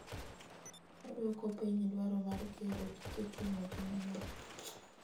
Oduoko piny dwaro mar gero gige ting'o ji mang'eny.